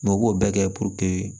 u b'o bɛɛ kɛ